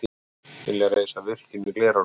Vilja reisa virkjun í Glerárdal